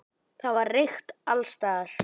Það var reykt alls staðar.